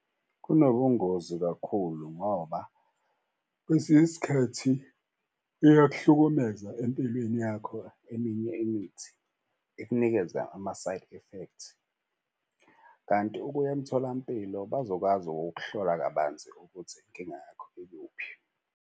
Kunobungozi kakhulu ngoba kwesinye isikhathi iyakuhlukumeza empilweni yakho. Eminye imithi ikunikeza ama-side effect kanti ukuya emtholampilo bazokwazi ukuhlola kabanzi ukuthi inkinga yakho ikuphi.